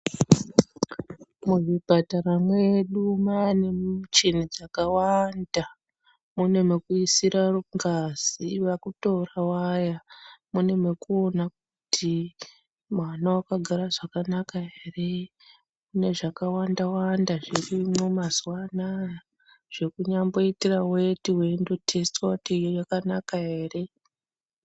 Muzvipatara mwedu mwaane michini dzakawanda. Mune mwekuisira ngazi vakutora vaya. Mune mwekuona kuti mwana wakagara zvakanaka ere. Mune zvakawanda wanda zvirimwo mazuwa anaa zvekunyamboitire weti yekutesitiwa kuti yakanaka ere.